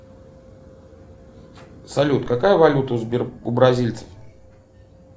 салют какая валюта у бразильцев